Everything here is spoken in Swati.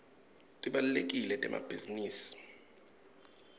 tibalulekile temabhizinisi